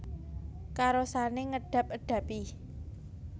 Karosane ngedab edabi